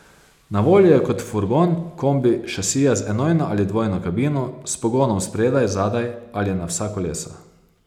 Na voljo je kot furgon, kombi, šasija z enojno ali dvojno kabino, s pogonom spredaj, zadaj ali na vsa kolesa.